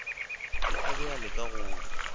a be a leka go